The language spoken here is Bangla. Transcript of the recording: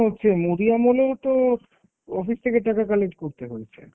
হচ্ছে? মোদী আমলেও তো office থেকে টাকা collect করতে হয়েছে।